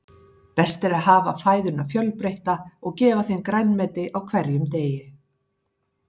Best er að hafa fæðuna fjölbreytta og gefa þeim grænmeti á hverjum degi.